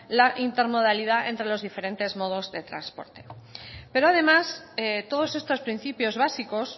la intermodalidad entre los diferentes modos de transporte pero además todos estos principios básicos